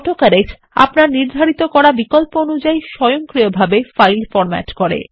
autocorrect আপনারনির্ধারিতকরাবিকল্প অনুযায়ী স্বয়ংক্রিয়ভাবে ফাইল ফরম্যাট করে